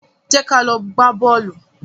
Jẹ́ ka lọ gbá bọ́ọ̀lù.